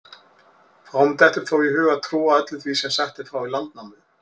Fáum dettur þó í hug að trúa öllu því sem sagt er frá í Landnámu.